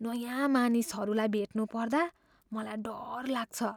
नयाँ मानिसहरूलाई भेट्नु पर्दा मलाई डर लाग्छ।